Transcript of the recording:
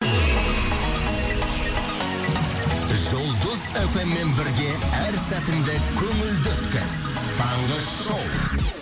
жұлдыз эф эм мен бірге әр сәтіңді көңілді өткіз таңғы шоу